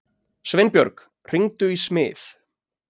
Sveinbjörg, hringdu í Smið.